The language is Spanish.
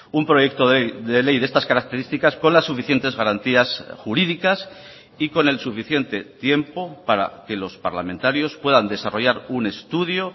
un proyecto de ley de estas características con las suficientes garantías jurídicas y con el suficiente tiempo para que los parlamentarios puedan desarrollar un estudio